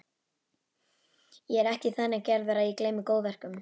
Ég er ekki þannig gerður að ég gleymi góðverkum.